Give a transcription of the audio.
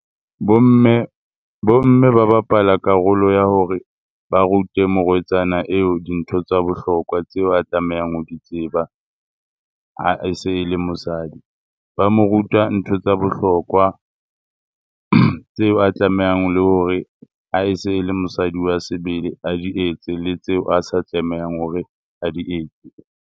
Bo mme bo mme, ba bapala karolo ya hore ba rute morwetsana eo dintho tsa bohlokwa tseo a tlamehang ho di tseba ha e se e le mosadi. Ba mo ruta ntho tsa bohlokwa tseo a tlamehang le hore ha e se e le mosadi wa sebele a di etse le tseo a sa tlamehang hore a di etse.